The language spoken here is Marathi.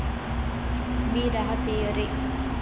मी राहतेय रे.